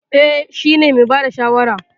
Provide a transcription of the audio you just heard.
Eh, shi ne mai bada shawara.